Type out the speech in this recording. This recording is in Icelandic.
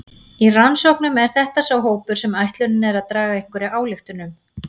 Í rannsóknum er þetta sá hópur sem ætlunin er að draga einhverja ályktun um.